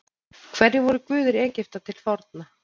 Hverjir voru guðir Egypta til forna?